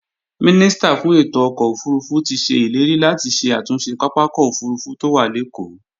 Mínísítà fún ètò ọkọ̀ òfurufú ti se ileri láti ṣe àtúnṣe pápákọ̀ òfurufú tó wà lékòó